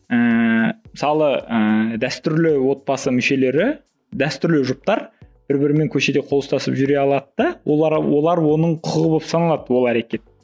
ііі мысалы ііі дәстүрлі отбасы мүшелері дәстүрлі жұптар бір бірімен көшеде қол ұстасып жүре алады да олар оның құқығы болып саналады ол әрекет